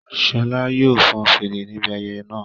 Ṣọla yóò fọn fèrè níbi ayẹyẹ náà